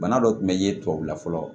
Bana dɔ kun bɛ ye tubabula fɔlɔ